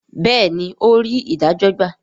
béèni, ò rí idajo gba